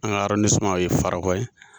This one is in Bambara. An ka o ye Farakɔ ye